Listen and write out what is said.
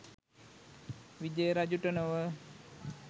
විජය රජුට නොව